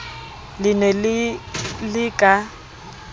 le ne le le ka